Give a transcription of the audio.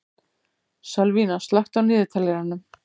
Sölvína, slökktu á niðurteljaranum.